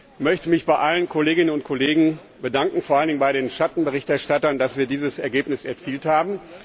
Ich möchte mich bei allen Kolleginnen und Kollegen bedanken, vor allen Dingen bei den Schattenberichterstattern, dass wir dieses Ergebnis erzielt haben.